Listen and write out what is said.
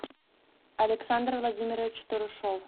александр владимирович турушов